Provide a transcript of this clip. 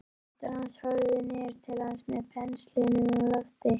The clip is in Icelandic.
Systir hans horfði niður til hans með pensilinn á lofti.